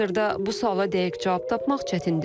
Hazırda bu suala dəqiq cavab tapmaq çətindir.